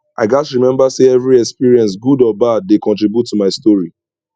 i gats remember say every experience good or bad dey contribute to my story